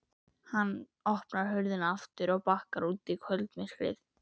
Hann opnar hurðina aftur og bakkar út í kvöldmyrkrið.